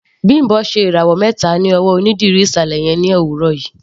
Bimbo ṣe ìràwọ̀ mẹta ní ọwọ́ onídìrí ìsàlẹ̀ yẹn ní òwúrọ̀ yìí.